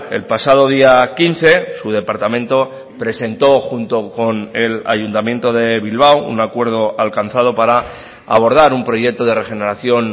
el pasado día quince su departamento presentó junto con el ayuntamiento de bilbao un acuerdo alcanzado para abordar un proyecto de regeneración